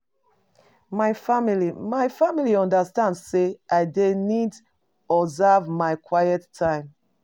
My family My family understand sey I dey need observe my quiet time.